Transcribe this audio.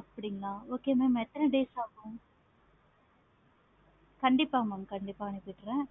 அப்படிங்களா okay mam எத்தனை days ஆகும். கண்டிப்பா mam கண்டிப்பா அனுப்பிடுறான்.